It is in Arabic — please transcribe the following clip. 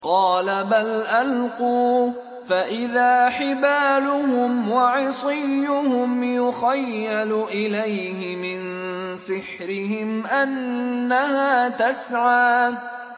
قَالَ بَلْ أَلْقُوا ۖ فَإِذَا حِبَالُهُمْ وَعِصِيُّهُمْ يُخَيَّلُ إِلَيْهِ مِن سِحْرِهِمْ أَنَّهَا تَسْعَىٰ